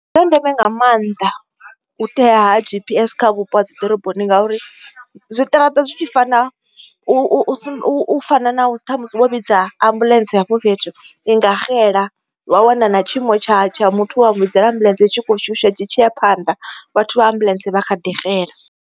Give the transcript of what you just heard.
Ndi zwa ndeme nga maanḓa u tea ha G_P_S kha vhupo ha dziḓoroboni ngauri zwiṱaraṱa zwi tshi fana u fana na ṱhamusi wo vhidza ambuḽentse hafho fhethu inga xela wa wana na tshiimo tsha tsha muthu wa mu vhidzelela ambuḽentse tshi kho shusha tshi tshi ya phanḓa vhathu vha ambuḽentse vha kha ḓi xela.